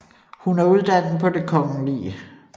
Hun er uddannet på Det Kgl